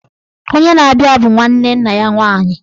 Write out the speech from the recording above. Onye na-abịa bụ nwanne nna ya nwaanyị